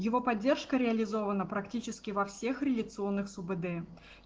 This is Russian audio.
его поддержка реализована практически во всех реляционных субд